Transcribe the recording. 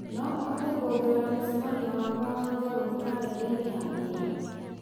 no ũhote kuongererea mũcemanio wakwa wa thũgũrĩ karenda-inĩ ya wĩra